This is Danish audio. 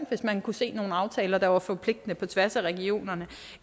hvis man kunne se nogle aftaler der er forpligtende på tværs af regionerne